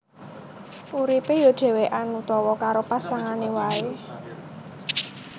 Uripé ya dhèwèkan utawa karo pasangané waé